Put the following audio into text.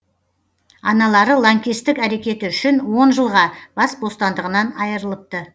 аналары лаңкестік әрекеті үшін он жылға бас бостандығынан айырылыпты